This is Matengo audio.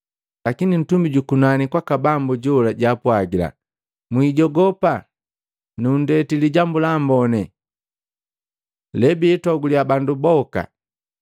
Lakini ntumi jukunani kwaka Bambu jola jaapwagila, “Mwijogopa! Nundeti Lijambu la Amboni, lebiitoguliya bandu boka.